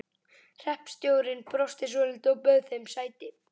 Hreppstjórinn brosti svolítið og bauð þeim sæti.